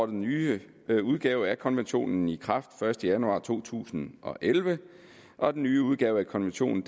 den nye udgave af konventionen i kraft den første januar to tusind og elleve og den nye udgave af konventionen